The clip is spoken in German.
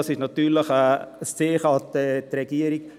Das ist natürlich ein Zeichen an die Regierung: